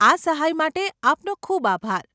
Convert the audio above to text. આ સહાય માટે આપનો ખૂબ આભાર.